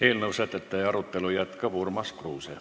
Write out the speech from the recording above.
Eelnõu sätete arutelu jätkab Urmas Kruuse.